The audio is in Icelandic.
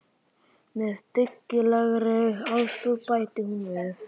Með dyggilegri aðstoð, bætti hún við.